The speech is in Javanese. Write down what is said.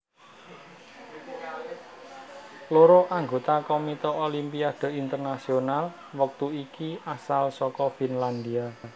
Loro anggota Komite Olimpiade Internasional wektu iki asal saka Finlandia